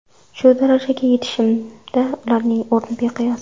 Shu darajaga yetishimda ularning o‘rni beqiyos.